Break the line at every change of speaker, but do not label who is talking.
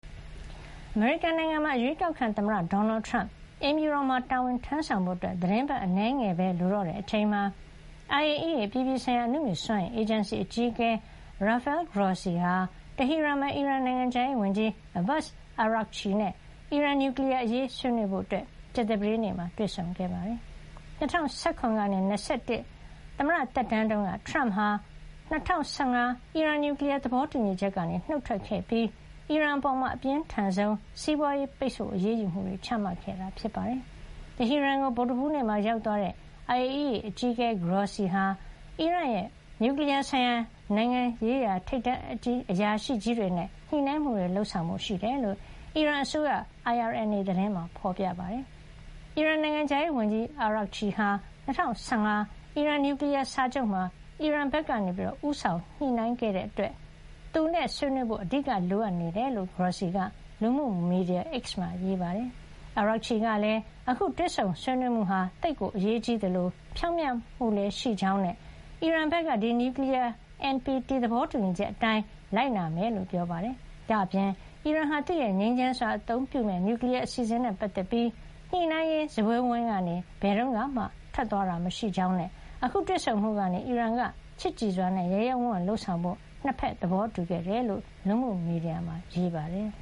အမေရိကန်နိုင်ငံမှာ အရွေးကောက်ခံ သမ္မတ ဒေါ်နယ်ထရမ့် အိမ်ဖြူတော်မှာ တာဝန်ထမ်းဆောင်ဖို့ သီတင်းပတ်အနည်းငယ်ပဲ လိုတော့တဲ့ အချိန်မှာ IAEA အပြည်ပြည်ဆိုင်ရာ အနုမြူစွမ်းအင်အေဂျင်စီ အကြီးအကဲ Rafael Grossi ဟာ တဟီရန်မှာ အီရန်နိုင်ငံခြားရေးဝန်ကြီး Abbas Araghchi နဲ့ အီရန် နျူကလီယားအရေးဆွေးနွေးဖို့ ကြာသပတေးနေ့မှာ တွေ့ဆုံခဲ့ပါတယ်။ ၂၀၁၇ ကနေ ၂၀၂၁ သမ္မတသက်တမ်းတုန်းက ထရမ့်က ၂၀၁၅ အီရန် နျူကလီယား သဘောတူညီချက်ကနေ နှုတ်ထွက်ခဲ့ပြီး အီရန်အပေါ် အပြင်းထန်ဆုံး စီးပွါးရေးပိတ်ဆို့ အရေးယူမှုတွေ ချမှတ်ခဲ့တာပါ။ တဟီရန်ကို ဗုဒ္ဓဟူးနေ့မှာ ရောက်သွားတဲ့ IAEA အကြီးအကဲ Grossi ဟာ အီရန်ရဲ့ နျူကလီယားဆိုင်ရာနဲ့ နိုင်ငံရေးရာ ထိပ်တန်းအရာရှိကြီးတွေနဲ့ ညှိနှိုင်းမှုတွေ လုပ်ဆောင်ဖို့ ရှိတယ်လို့ အီရန်အစိုးရ IRNA သတင်းမှာ ဖေါ်ပြပါတယ်။ အီရန် နိုင်ငံခြားရေးဝန်ကြီး အာရာဂ်ချီ ဟာ ၂၀၁၅ အီရန်နျူကလီယား စာချုပ်မှာ အီရန်ဘက်က ဦးဆောင်ညှိနှိုင်းရေးမှူး ဖြစ်တဲ့ အတွက် သူနဲ့ ဆွေးနွေးဖို့၊ အဓိက လိုအပ်နေတာ ဖြစ်ကြောင်း Grossi က လူမှုမီဒီယာ X မှာ ရေးပါတယ်။ အာရာဂ်ချီ - ကလည်း အခုတွေ့ဆုံ ဆွေးနွေးမှုဟာ သိပ်အရေးကြီးသလို ဖြောင့်မတ်မှုလည်းရှိကြောင်း နဲ့ အီရန်ဘက်က ဒီနျူကလီယား NPT သဘောတူညီချက် အတိုင်း လိုက်နာမှာ ဖြစ်ကြောင်းပြောပါတယ်။ ဒါ့အပြင် အီရန်ဟာ သူ့ရဲ့ ငြိမ်းချမ်းစွာအသုံးပြုမယ့် နျူကလီယား အစီအစဉ် နဲ့ ပတ်သက်ပြီး ညှိနှိုင်းရေး စားပွဲဝိုင်းကနေ ဘယ်တုန်းကမှ ထွက်သွားတာ မရှိခဲ့ကြောင်းနဲ့ အခုတွေ့ဆုံမှုကနေ အီရန်က ချစ်ကြည်စွာနဲ့ ရဲရဲဝံ့ဝံ့ လုပ်ဆောင်ဖို့ ၂ ဘက် သဘောတူခဲ့တယ်လို့ လူမှုမီဒီယာမှာ ရေးပါတယ်